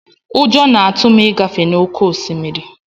Ụjọ na-atụ m ịgafe n'oké osimiri.